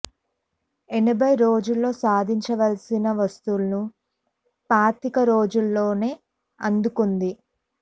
యాభై రోజుల్లో సాధించవలసిన వసూళ్లు పాతిక రోజుల్లోనే అందుకొంది